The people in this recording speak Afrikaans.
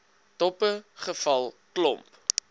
doppe geval klomp